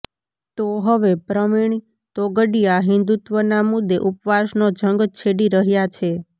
તો હવે પ્રવિણ તોગડિયા હિન્દુત્વના મુદ્દે ઉપવાસનો જંગ છેડી રહ્યા છે